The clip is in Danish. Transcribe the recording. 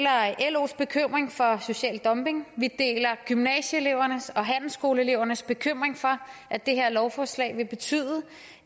los bekymring for social dumping vi deler gymnasieelevernes og handelsskoleelevernes bekymring for at det her lovforslag vil betyde